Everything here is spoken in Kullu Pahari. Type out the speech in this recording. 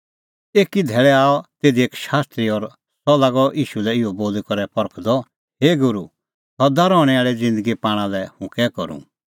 एकी धैल़ै आअ तिधी एक शास्त्री और सह लागअ ईशू लै इहअ बोली करै परखदअ हे गूरू सदा रहणैं आल़ी ज़िन्दगी पाणा लै हुंह कै करूं